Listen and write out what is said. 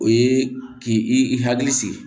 O ye k'i i hakili sigi